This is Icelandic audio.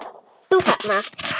Þú þarna.